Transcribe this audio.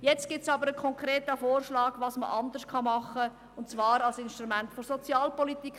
Nun gibt es aber einen konkreten Vorschlag, was man anders machen kann, und zwar als Instrument der Sozialpolitik.